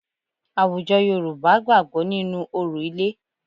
Àwùjọ Yorùbá gbàgbọ́ nínú orò ilé